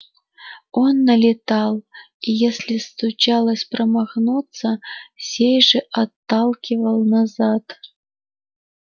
он налетал и если случалось промахнуться сей же отталкивал назад